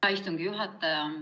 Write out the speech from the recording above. Hea istungi juhataja!